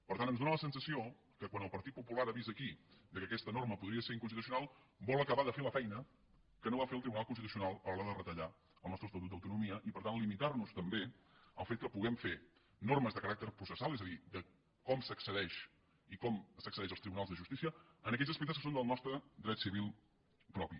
per tant ens fa la sensació que quan el partit popular ha vist aquí que aquesta norma podria ser inconstitucional vol acabar de fer la feina que no va fer el tribunal constitucional a l’hora de retallar el nostre estatut d’autonomia i per tant limitar nos també el fet que puguem fer normes de caràcter processal és a dir de com s’accedeix i com s’accedeix als tribunals de justícia en aquells aspectes que són del nostre dret civil propi